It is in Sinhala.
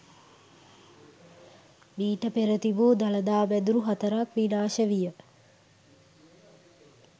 මීට පෙර තිබූ දළදා මැදුරු හතරක් විනාශ විය.